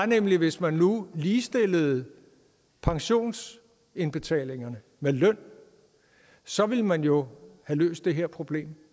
nemlig hvis man nu ligestillede pensionsindbetalingerne med løn så ville man jo have løst det her problem og